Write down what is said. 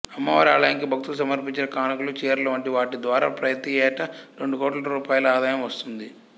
అమ్మవారి ఆలయానికి భక్తులు సమర్పించిన కానుకలు చీరలు వంటి వాటిద్వారా ప్రతియేటా రెండు కోట్ల రూపాయల ఆదాయం వస్తుంది